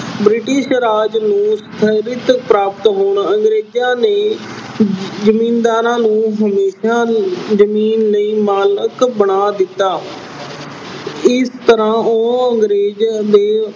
British ਰਾਜ ਨੂੰ ਪ੍ਰਾਪਤ ਹੋਣ ਅੰਗਰੇਜਾਂ ਨੇ ਜ਼ਿੰਮੀਦਾਰਾਂ ਨੂੰ ਅਹ ਅੰਗਰੇਜਾਂ ਨੇ ਜ਼ਮੀਨ ਦੇ ਮਾਲਕ ਬਣਾ ਦਿੱਤਾ। ਇਸ ਤਰ੍ਹਾਂ ਉਹ ਅੰਗਰੇਜ਼ ਦੇ